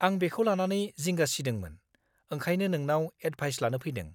आं बेखौ लानानै जिंगा सिदोंमोन, ओंखायनो नोंनाव एडभाइस लानो फैदों।